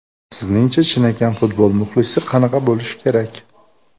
Sizningcha chinakam futbol muxlisi qanaqa bo‘lishi kerak?